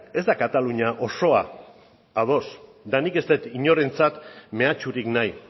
ez da katalunia osoa ados eta nik ez dut inorentzat mehatxurik nahi